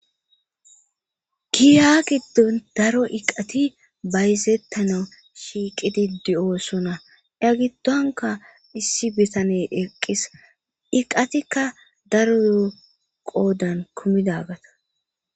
Giya giddon daro iqati bayzettana shiiqidi di7oosona ya gittonka issi bitane eqqis iqatikka daro yooqoodan kumidagata.